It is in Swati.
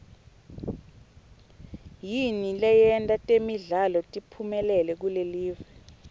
yini leyenta temidlalo tiphumelele kulelive